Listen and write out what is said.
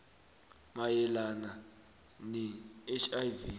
mayelana ne hiv